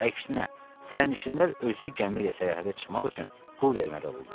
Əksinə, sərnişinlər özü gəmi ilə səyahətə çıxmaq üçün pul verməli olurlar.